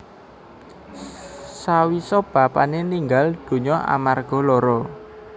Sawisa bapané ninggal dunya amarga lara